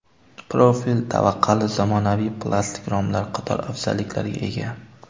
Profil tavaqali zamonaviy plastik romlar qator afzalliklarga ega.